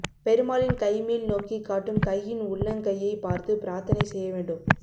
பெருமாளின் கை மேல் நோக்கி காட்டும் கையின் உள்ளங்கையை பார்த்து பிரார்த்தனை செய்ய வேண்டும்